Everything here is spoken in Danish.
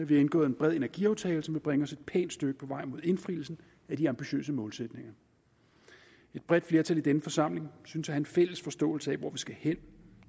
vi har indgået en bred energiaftale der vil bringe os et pænt stykke på vej mod indfrielsen af de ambitiøse målsætninger et bredt flertal i denne forsamling synes at have en fælles forståelse af hvor vi skal hen